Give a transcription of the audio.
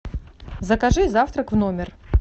закажи завтрак в номер